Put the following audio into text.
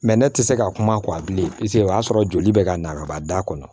Mɛ ne tɛ se ka kuma kɔ a bilen o y'a sɔrɔ joli bɛ ka na kaba da kɔnɔ